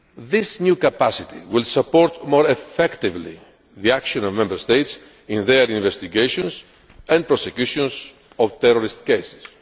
This new capacity will support more effectively the action of Member States in their investigations and prosecutions of terrorist cases.